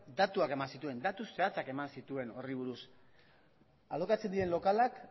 datuak eman zituen datu zehatzak eman zituen horri buruz alokatzen diren lokalak